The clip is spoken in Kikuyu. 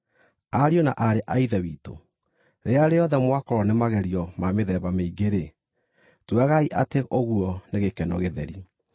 Ariũ na aarĩ a Ithe witũ, rĩrĩa rĩothe mwakorwo nĩ magerio ma mĩthemba mĩingĩ-rĩ, tuagai atĩ ũguo nĩ gĩkeno gĩtheri.